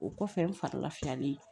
O kɔfɛ n farilafiyalen ye